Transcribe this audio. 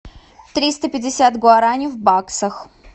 триста пятьдесят гуараней в баксах